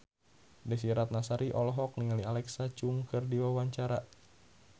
Desy Ratnasari olohok ningali Alexa Chung keur diwawancara